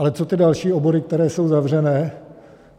Ale co ty další obory, které jsou zavřené?